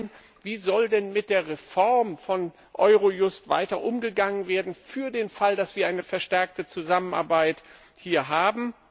Zum einen Wie soll denn mit der Reform von Eurojust weiter umgegangen werden für den Fall, dass wir hier eine verstärkte Zusammenarbeit haben?